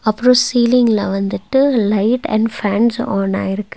அப்றோ சீலிங்ல வந்துட்டு லைட் அண்ட் ஃபேன்ஸ் ஆன் ஆயிருக்கு.